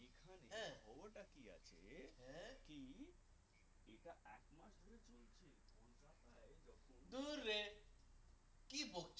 কি বলছ